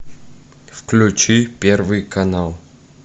включи первый канал